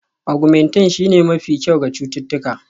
Augmentin shine mafi kyau ga cututtuka